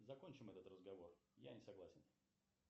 закончим этот разговор я не согласен